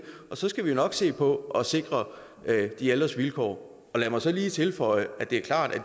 og så skal vi jo nok se på at sikre de ældres vilkår lad mig så lige tilføje at det er klart at